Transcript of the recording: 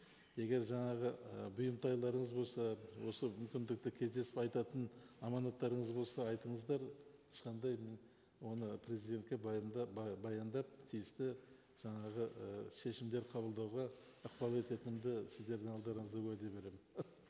егер жаңағы ы бұйымтайларыңыз болса осы мүмкіндікті кездесіп айтатын аманаттарыңыз болса айтыңыздар ешқандай мен оны президентке баяндап баяндап тиісті жаңағы і шешімдер қабылдауға ықпал ететінімді сіздердің алдарыңызда уәде беремін